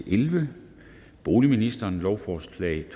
elleve boligministeren lovforslag